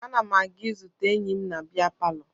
Ana m aga izute enyi m na bịa palọ